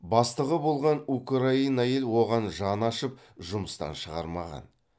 бастығы болған украин әйел оған жаны ашып жұмыстан шығармаған